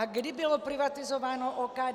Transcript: A kdy bylo privatizováno OKD?